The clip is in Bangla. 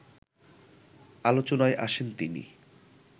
আলোচনায় আসেন তিনি